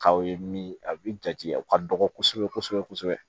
K'aw ye min a bi jate u ka dɔgɔ kosɛbɛ kosɛbɛ